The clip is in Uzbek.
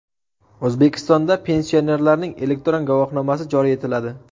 O‘zbekistonda pensionerlarning elektron guvohnomasi joriy etiladi.